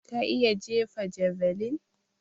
Ka iya jefa javeline?